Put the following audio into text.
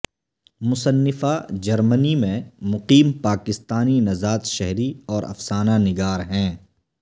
مصنفہ Germany میں مقیم پاکستانی نژاد شہری اور افسانہ نگار ہیں